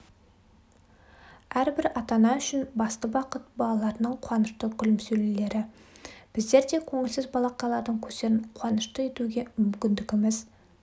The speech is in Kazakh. әрбір ата-ана үшін басты бақыт балаларының қуанышты күлімсіреулері біздер де көңілсіз балақайлардың көздерін қуанышты етуге мүмкіндігіміз